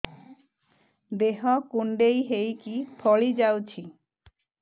ଦେହ କୁଣ୍ଡେଇ ହେଇକି ଫଳି ଯାଉଛି